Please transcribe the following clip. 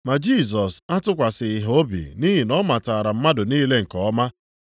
Ma Jisọs atụkwasịghị ha obi nʼihi na ọ matara mmadụ niile nke ọma.